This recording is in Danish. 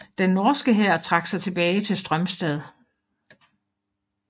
Den norske hær trak sig tilbage til Strömstad